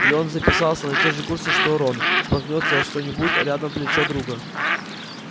и он записался на те же курсы что рон споткнётся о что-нибудь а рядом плечо друга